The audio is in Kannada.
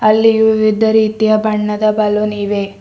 ಅಲ್ಲಿ ವಿವಿಧ ರೀತಿಯ ಬಣ್ಣದ ಬಲುನ್ ಇವೆ.